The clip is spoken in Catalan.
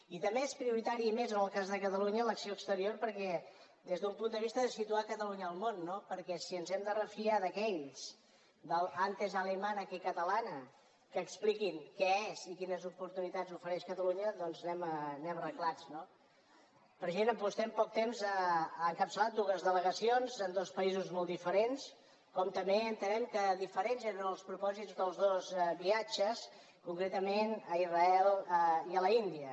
i també és prioritària i més en el cas de catalunya l’acció exterior des d’un punt de vista de situar catalunya al món no perquè si ens hem de refiar que aquells de l’ antes alemana que catalana expliquin què és i quines oportunitats ofereix catalunya doncs anem arreglats no president vostè en poc temps ha encapçalat dues delegacions en dos països molt diferents com també entenem que diferents eren els propòsits dels dos viatges concretament a israel i a l’índia